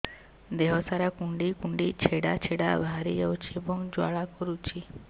ଦେହ ସାରା କୁଣ୍ଡେଇ କୁଣ୍ଡେଇ ଛେଡ଼ା ଛେଡ଼ା ବାହାରି ଯାଉଛି ଏବଂ ଜ୍ୱାଳା କରୁଛି